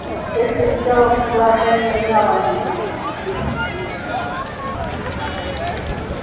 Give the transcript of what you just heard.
эшли сделал предложение мелани